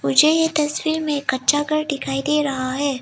मुझे ये तस्वीर में कच्चा घर दिखाई दे रहा है।